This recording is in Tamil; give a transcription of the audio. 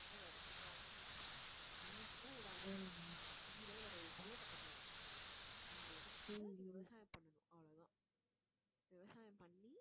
அந்த இடத்தை வந்து வாங்கிக்கலாம். வாங்கிக்கிட்டா அதுல அறுவடை செய்யலாம் வீடோ வேற எதுவும் கட்டக்கூடாது. அந்த இடத்துல விவசாயம் பண்ணணும் அவ்வளவுதான் விவசாயம் பண்ணி